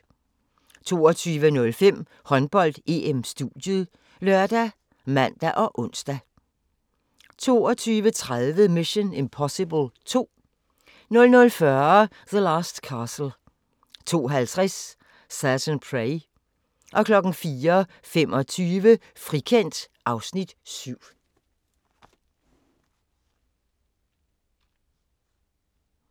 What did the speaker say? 22:05: Håndbold: EM - studiet ( lør, man, ons) 22:30: Mission: Impossible II 00:40: The Last Castle 02:50: Certain Prey 04:25: Frikendt (Afs. 7)